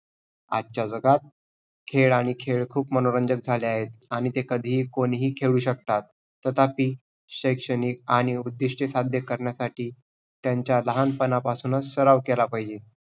आजचा जगात खेळ आणि खेळ खूप मनोरंजक झाले आहेत आणि ते कधीही कोणीही खेळू शकतात. तथापि, शैक्षणिक आणि उद्दिष्टे साध्य करण्यासाठी त्यांचा लहानपणापासूनच सराव केला पाहिजे.